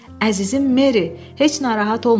Əzizim Meri, heç narahat olma.